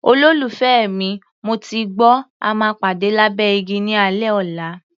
Olólùfẹ́ mi, mo ti gbọ́, a máa pàdé lábẹ́ igi ní alẹ́ ọ̀la.